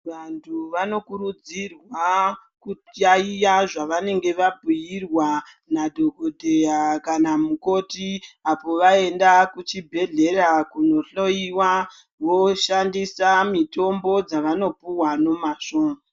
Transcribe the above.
Vantu vanokurudzirwa kujaiya zvavanenge vabhuirwa nadhokodheya kana mukoti apo vaenda kuchibhedhlera kunohloiwa voshandisa mitombo dzavanopuwa nemazvo.